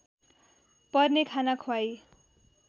पर्ने खाना ख्वाई